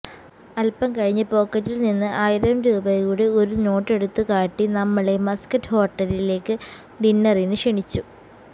അല്പം കഴിഞ്ഞ് പോക്കറ്റിൽനിന്ന് ആയിരം രൂപയുടെ ഒരു നോട്ടെടുത്തുകാട്ടി നമ്മളെ മസ്കറ്റ് ഹോട്ടലിലേക്ക് ഡിന്നറിന് ക്ഷണിച്ചു